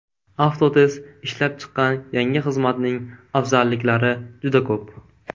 Avtotest ishlab chiqqan yangi xizmatning afzalliklari juda ko‘p.